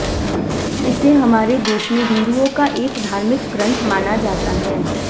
इसे हमारे देश में हिंदुओं का एक धार्मिक ग्रंथ माना जाता है